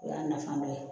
O y'a nafa dɔ ye